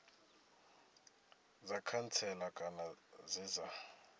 dza khantsela kana dze dza